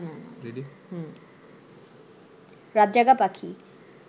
রাত জাগা পাখি